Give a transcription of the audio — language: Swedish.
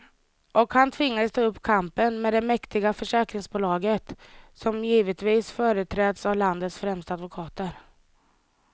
Och han tvingas ta upp kampen med det mäktiga försäkringsbolaget, som givetvis företräds av landets främsta advokater.